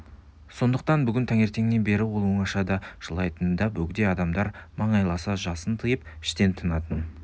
сондықтан бүгін таңертеңнен бері ол оңашада жылайтын да бөгде адамдар маңайласса жасын тыйып іштен тынатын